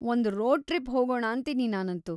ಒಂದ್ road trip ಹೋಗೋಣಾಂತೀನಿ ನಾನಂತೂ.